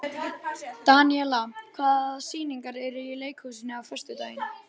Daníela, hvaða sýningar eru í leikhúsinu á föstudaginn?